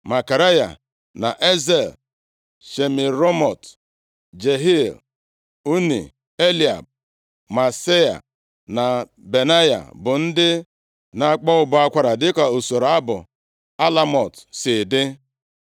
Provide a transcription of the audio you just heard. Zekaraya na Aziel, Shemiramot, Jehiel, Unni, Eliab, Maaseia na Benaya bụ ndị na-akpọ ụbọ akwara dịka usoro abụ alamot, si dị